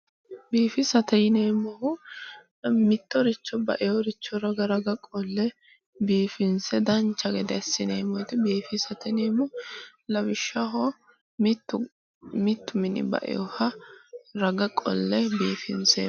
Biifisate yineemmohu mittoricho baewore raga raga wolle biifinse dancha gede assineemmoti biifisate yineemmo lawishshaho, mittu mini ba"ewoha raga qolle biifinseemmo